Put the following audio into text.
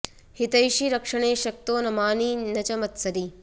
हितैषी रक्षणे शक्तो न मानी न च मत्सरी